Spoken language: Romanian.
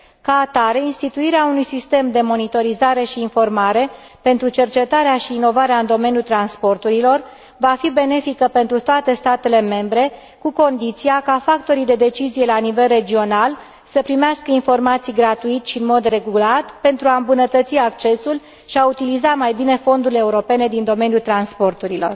Ca atare, instituirea unui sistem de monitorizare și informare pentru cercetarea și inovarea în domeniul transporturilor va fi benefică pentru toate statele membre, cu condiția ca factorii de decizie la nivel regional să primească informații gratuit și în mod regulat, pentru a îmbunătăți accesul și a utiliza mai bine fondurile europene din domeniul transporturilor.